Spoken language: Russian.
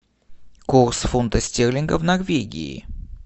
курс фунта стерлинга в норвегии